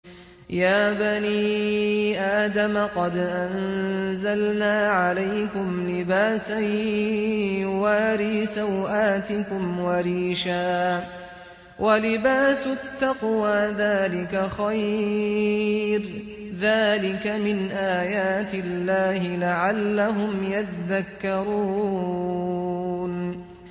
يَا بَنِي آدَمَ قَدْ أَنزَلْنَا عَلَيْكُمْ لِبَاسًا يُوَارِي سَوْآتِكُمْ وَرِيشًا ۖ وَلِبَاسُ التَّقْوَىٰ ذَٰلِكَ خَيْرٌ ۚ ذَٰلِكَ مِنْ آيَاتِ اللَّهِ لَعَلَّهُمْ يَذَّكَّرُونَ